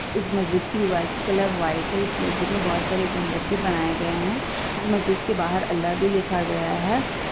इस मस्जिद की दीवार की कलर वाइट है इस मस्जिद मे बहुत सारे गुंबद भी बनाये गए है इस मस्जिद के बाहर अल्लाह भी लिखा गया है ।